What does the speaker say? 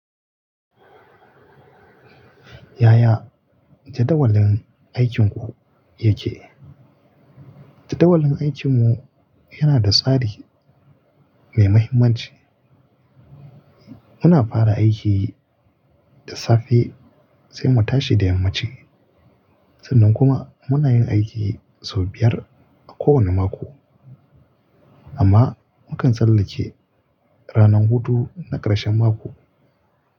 Yaya jadawalin aikinku yake? Jadawalin aikinmu yana da tsari mai mahimmanci. Muna fara aiki da safe sai mu tashi da yammaci. Sannan kuma muna yin aiki sau biyar a kowane mako, amma mukan tsallake ranar hutu na ƙarshen mako.